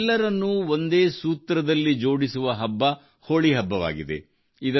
ನಮ್ಮೆಲ್ಲರನ್ನೂ ಒಂದೇ ಸೂತ್ರದಲ್ಲಿ ಜೋಡಿಸುವ ಹಬ್ಬ ಹೋಳಿ ಹಬ್ಬವಾಗಿದೆ